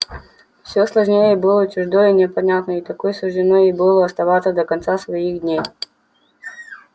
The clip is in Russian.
всё сложнее было ей чуждо и непонятно и такой суждено ей было оставаться до конца дней своих